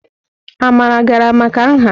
Amara gara maka nha?